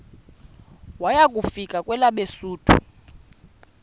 waya kufika kwelabesuthu